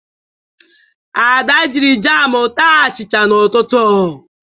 Ada jiri jamụ taa achịcha n'ụtụtụ.